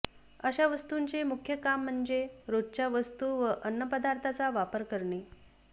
अशा वस्तूंचे मुख्य काम म्हणजे रोजच्या वस्तू व अन्नपदार्थांचा वापर करणे